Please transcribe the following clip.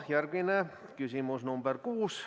Järgmine küsimus, nr 6.